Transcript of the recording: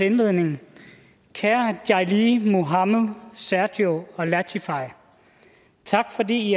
indledningen kære jai li muhammed sergio og latifah tak fordi i